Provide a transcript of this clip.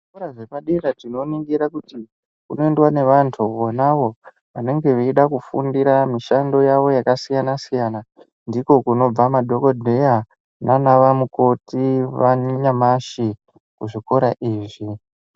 Zvikora zvepadera tinoningira kuti kunoendwa nevantu vona avo vanenge veida kufundira mishando yavo yakasiyana -siyana. Ndiko kunobva madhokodheya nana mukoti vanyamashi kuzvikora izvi.